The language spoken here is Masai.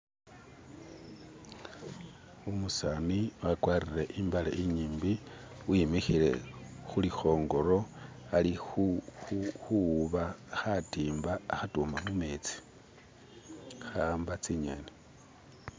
Umusani a gwarile imbale inyimbi wimikhile khuli khongoro ali khuwuba khatimba alihutuma mumetsi khawamba tsinyeni